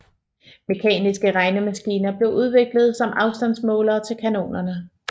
Mekaniske regnemaskiner blev udviklet som afstandsmålere til kanonerne